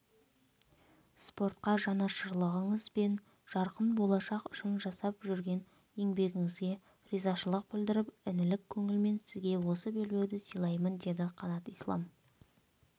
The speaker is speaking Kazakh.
спортқа жанашырлығыңыз бен жарқын болашақ үшін жасап жүрген еңбегіңізге ризашылық білдіріп інілік көңілмен сізге осы белбеуді сыйлаймын деді қанат ислам